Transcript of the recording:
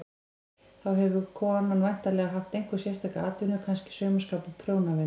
Þá hefur konan væntanlega haft einhverja sérstaka atvinnu, kannski saumaskap og prjónavinnu.